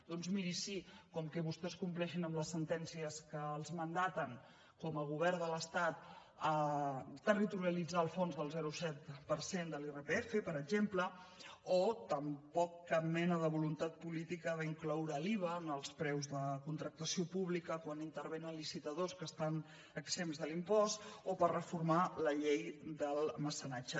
doncs miri sí com que vostès compleixin amb les sentències que els mandaten com a govern de l’estat territorialitzar el fons del zero coma set per cent de l’irpf per exemple o tampoc cap mena de voluntat política d’incloure l’iva en els preus de contractació pública quan intervenen licitadors que estan exempts de l’impost o per reformar la llei del mecenatge